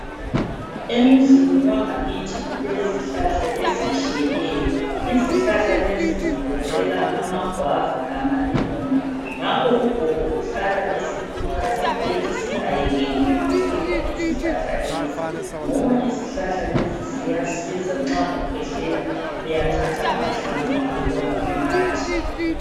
Emuzini wangakithi kulezihlahla ezitshiyeneyo. Izihlahla lezi zigoqela amagwava lamalemoni. Ngakho ugogo uhlala esikhuthaza ethi singayekeli ukuthelela izihlahla lezi ngoba izihlahla lezi ziyasiza nxa ukhwehlela. Uyathatha amahlamvu angikhona unathe.